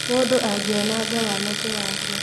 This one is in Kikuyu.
Mũndũ angĩananga wanake wake